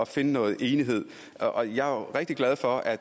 finde noget enighed jeg er rigtig glad for at